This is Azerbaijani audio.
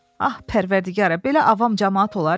Ax pərvərdigara, belə avam camaat olar.